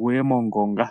guye mongonga.